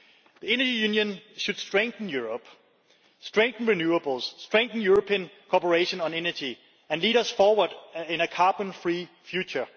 The energy union should strengthen Europe, strengthen renewables, strengthen European cooperation on energy and lead us forward in a carbon free future.